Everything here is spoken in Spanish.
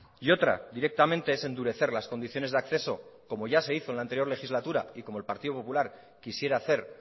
y otra directamente es endurecer las condiciones de acceso como ya se hizo en la anterior legislatura y como el partido popular quisiera hacer